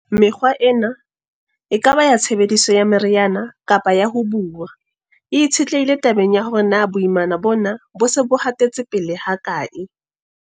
Mekgwa ena, e ka ba ya tshebediso ya meriana kapa ya ho buuwa, e itshetlehile tabeng ya hore na boimana bona bo se bo hatetse pele hakae.